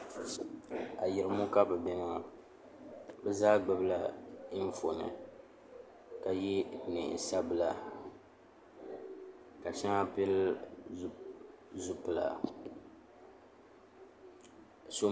Ayirimo ka be bɛ ŋɔ be zaa gbibila anfooni ka yɛ nɛɛnsabila ka shaŋa pili zʋpila so